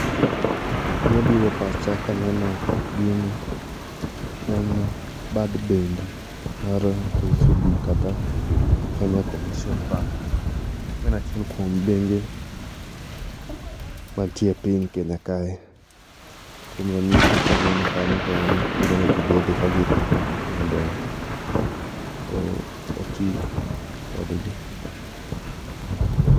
gimabiro e pacha kaneno gini en bad bengi mar kcb kata kenya commercial bank maen achiel kuo bengi mantiere e piny kenya kae kuom ranyisi kwaneno kanyo to en kuonde ma ji bede ka girito mondo oti kodgi